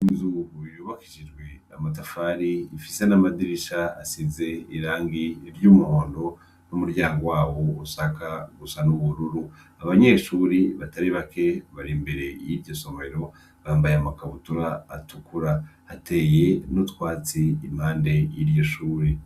Inzu yubakishijwe n'amatafari afise n'amadirisha asize irangi ry'umuhondo numuryango waho usanga usa n'ubururu , abanyeshuri batari bake bari imbere yiryosomero bambaye amakabutura atukura, hateye n'utwatsi imbere yiryoshure.